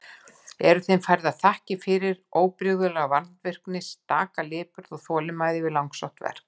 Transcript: Eru þeim færðar þakkir fyrir óbrigðula vandvirkni og staka lipurð og þolinmæði við langsótt verk.